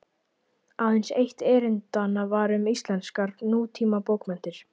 Aðeins eitt erindanna var um íslenskar nútímabókmenntir.